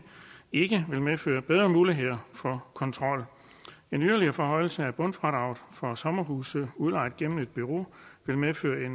ikke vil medføre bedre muligheder for kontrol en yderligere forhøjelse af bundfradraget for sommerhuse udlejet gennem et bureau vil medføre